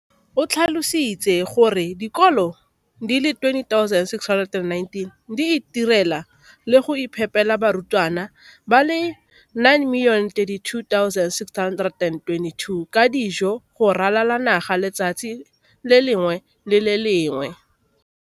O tlhalositse gore dikolo di le 20 619 di itirela le go iphepela barutwana ba le 9 032 622 ka dijo go ralala naga letsatsi le lengwe le le lengwe.